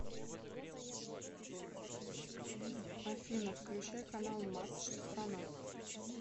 афина включай канал матч страна